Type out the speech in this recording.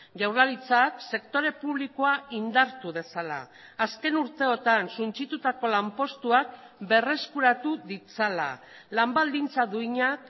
jaurlaritzak sektore publikoa indartu dezala azken urteetan suntsitutako lanpostuak berreskuratu ditzala lan baldintza duinak